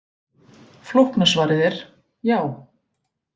Flókna svarið er: Já.